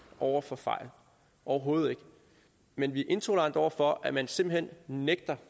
over for fejl overhovedet ikke men vi er intolerante over for at man simpelt hen nægter